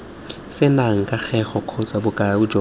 senang kagego kgotsa bokao jo